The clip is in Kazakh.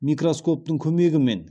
микроскоптың көмегімен